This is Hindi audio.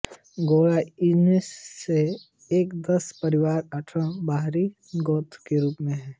गौड़ा उनमें से एक दस परिवार अठारह बारी गोत्र के रूप में है